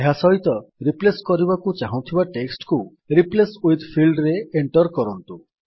ଏହା ସହିତ ରିପ୍ଲେସ୍ କରିବାକୁ ଚାହୁଁଥିବା ଟେକ୍ସଟ୍ କୁ ରିପ୍ଲେସ୍ ୱିଥ୍ ଫିଲ୍ଡରେ ଏଣ୍ଟର୍ କରନ୍ତୁ